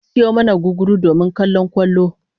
An sayo mana gugguru domin kallon kwallon